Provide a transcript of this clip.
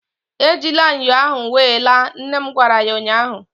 Ejila ṅyọ ahụ wee laa! nne m gwara ya ụnyaahụ